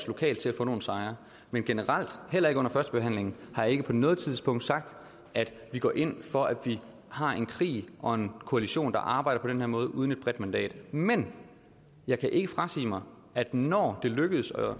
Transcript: lokalt at få nogle sejre men generelt heller ikke under førstebehandlingen har jeg ikke på noget tidspunkt sagt at vi går ind for at vi har en krig og en koalition der arbejder på den her måde uden et bredt mandat men jeg kan ikke frasige mig at når det lykkes